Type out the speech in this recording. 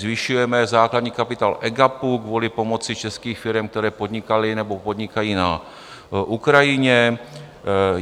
Zvyšujeme základní kapitál EGAPu kvůli pomoci českých firem , které podnikaly nebo podnikají na Ukrajině.